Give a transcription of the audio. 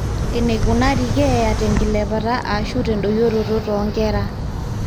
eneikunari keeya tenkilepata aashu tendoyioroto toonkera